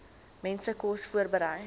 mense kos voorberei